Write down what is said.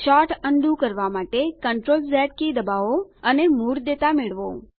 sort undo કરવા માટે CTRL Z key દબાવો અને મૂળ ડેટા મેળવો